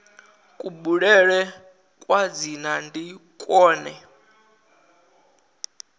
kubulele kwa dzina ndi kwone